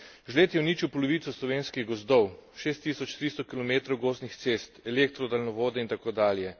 Žled je uničil polovico slovenskih gozdov, 6300 kilometrov gozdnih cest, elektro daljnovode in tako dalje.